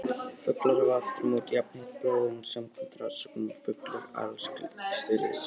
Fuglar hafa aftur á móti jafnheitt blóð, en samkvæmt rannsóknum eru fuglar allra skyldastir risaeðlum.